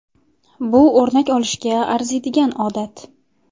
Bu o‘rnak olishga arziydigan odat.